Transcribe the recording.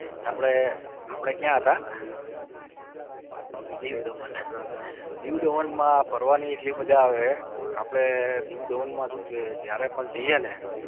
આપડે આપડે ક્યાં હતા? દીવ દમણ, દીવ દમણમાં ફરવા ની એટલે માજા આવે આપડે દીવ દમણમાં શું છે જયારે પણ જઇયે ને